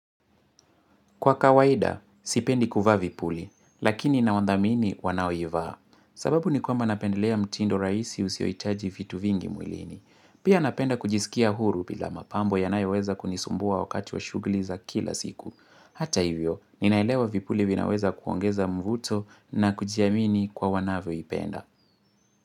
Kwa kawaida, sipendi kuvaa vipuli, lakini naundhamini wanao ivaa, sababu ni kwamba napendelea mtindo raisi usioitaji vitu vingi mwilini. Pia napenda kujisikia huru bila mapambo yanayo weza kunisumbua wakati wa shugliza kila siku. Hata hivyo, ninaelewa vipuli vinaweza kuongeza mvuto na kujiamini kwa wanavyo ipenda.